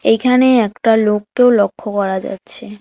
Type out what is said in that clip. এইখানে একটা লোককেও লক্ষ্য করা যাচ্ছে।